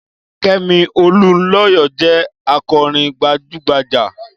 Kẹ́mi Olunlọyọ jẹ́ akọ̀ròyìn gbajúgbajjà.